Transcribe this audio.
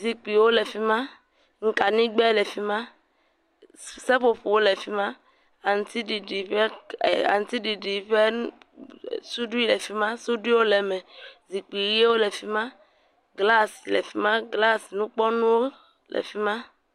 Zikpuiwo le fi ma, kaɖigbɛ le fi ma, seƒoƒo le fi ma, aŋutiɖiɖi ƒeƒe aŋutiɖiɖi ƒe suɖui le fi ma, suɖuiwo le me, zikpui ʋɛ̃wo le fi ma, glas le fi ma, glas nukpɔnuwo le fi ma.